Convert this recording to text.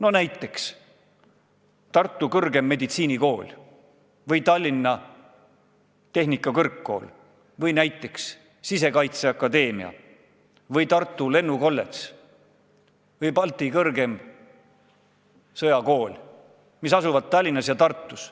Võtame näiteks Tartu Tervishoiu Kõrgkooli või Tallinna Tehnikakõrgkooli või näiteks Sisekaitseakadeemia või Tartu Lennuakadeemia või Kaitseväe Akadeemia, mis asuvad Tallinnas ja Tartus.